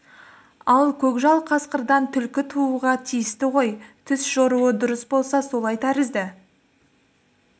ал көкжал қасқырдан түлкі тууға тиісті ғой түс жоруы дұрыс болса солай тәрізді